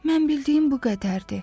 Mən bildiyim bu qədərdir.